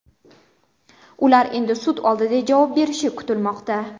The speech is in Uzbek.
Ular endi sud oldida javob berishi kutilmoqda.